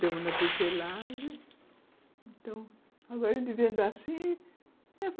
tecelagem, agora